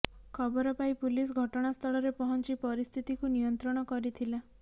ଖବର ପାଇ ପୁଲିସ ଘଟଣା ସ୍ଥଳରେ ପହଞ୍ଚି ପରିସ୍ଥିତିକୁ ନିୟନ୍ତ୍ରଣ କରିଥିଲା